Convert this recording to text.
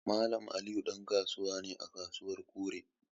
Mallam Aminu dan kasuwa ne à kasuwan Kure.